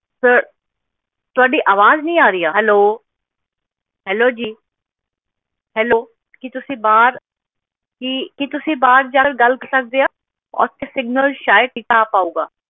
sir ਤੁਹਾਡੀ ਅਵਾਜ ਨਹੀਂ ਆ ਰਹੀ ਆ hello hello ਜੀ hello ਕੀ ਤੁਸੀਂ ਬਾਹਰ ਕੀ ਤੁਸੀਂ ਬਾਹਰ ਜਾ ਕੇ ਗੱਲ ਕਰ ਸਕਦੇ ਆ ਓਥੇ signal ਸ਼ਾਇਦ ਸਿੱਧਾ ਆ ਪਾਊਗਾ